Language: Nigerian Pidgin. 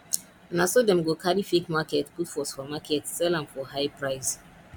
na so dem go carry fake market put for supermarket sell am for high price